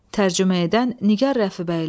Tərcümə edən Nigar Rəfibəyli.